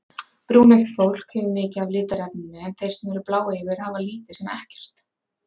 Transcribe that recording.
Brúneygt fólk hefur mikið af litarefninu en þeir sem eru bláeygir hafa lítið sem ekkert.